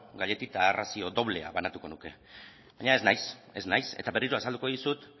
gailetita arrazio doblea banatuko nuke baina ez naiz eta berriro azalduko dizut